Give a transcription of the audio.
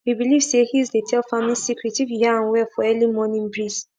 we believe say hills dey tell farming secret if you hear am well for early morning breeze